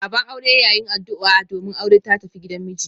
Baban aure ya yin addu'a domin aure ta tafi gidan miji.